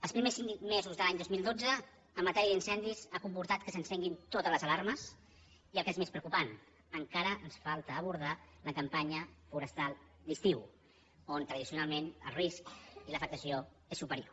els primers cinc mesos de l’any dos mil dotze en matèria d’incendis ha comportat que s’encenguin totes les alarmes i el que és més preocupant encara ens falta abordar la campanya forestal d’estiu on tradicionalment el risc i l’afectació és superior